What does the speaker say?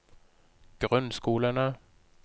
grunnskolene